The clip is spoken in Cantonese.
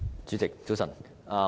主席，早晨。